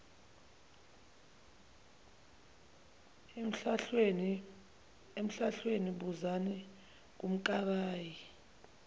emhlahlweni buzani kumkabayi